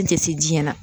A tɛ se diɲɛ na